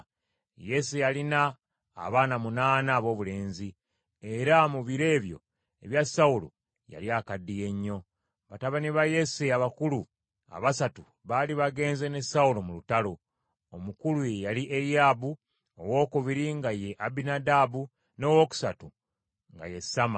Yese yalina abaana munaana aboobulenzi, era mu biro ebyo ebya Sawulo yali akaddiye nnyo. Batabani ba Yese abakulu abasatu baali bagenze ne Sawulo mu lutalo. Omukulu ye yali Eriyaabu, owookubiri nga ye Abinadaabu, n’owookusatu nga ye Samma.